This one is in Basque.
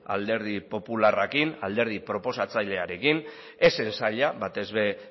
alderdi popularrarekin alderdi proposatzailearekin ez zen zaila batez ere